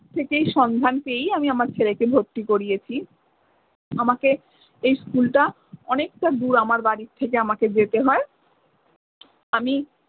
থেকেই সন্ধান পেয়েই আমি আমার ছেলেকে ভর্তি করিয়েছি। আমাকে এই school টা অনেকটা দূর আমার বাড়ির থেকে আমাকে যেতে হয়। আমি